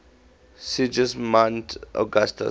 sigismund augustus